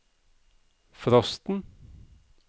frosten